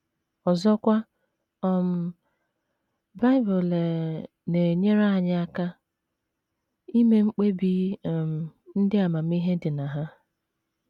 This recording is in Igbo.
Ọzọkwa um,, Bible um na - enyere anyị aka ime mkpebi um ndị amamihe dị na ha.